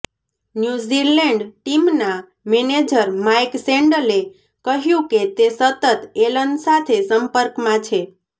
New Zealand ટીમના manager Mike સેન્ડલે કહ્યું કે તે સતત એલન સાથે સંપર્કમાં છે